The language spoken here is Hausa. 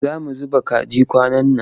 Za mu zuba kaji kwanan nan.